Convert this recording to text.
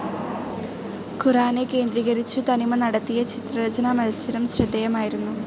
ഖുർആനെ കേന്ദ്രീകരിച്ചു തനിമ നടത്തിയ ചിത്രരചനാ മത്സരം ശ്രദ്ധേയമായിരുന്നു.